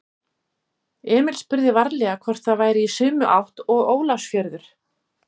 Emil spurði varlega hvort það væri í sömu átt og Ólafsfjörður.